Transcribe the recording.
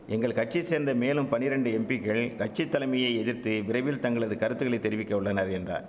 எங்கள் கட்சியை சேர்ந்த மேலும் பனிரெண்டு எம்பிக்கள் கட்சி தலைமையை எதிர்த்து விரைவில் தங்களது கருத்துகளை தெரிவிக்க உள்ளனர் என்றார்